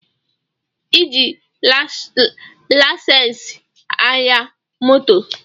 E ji laisensi aya moto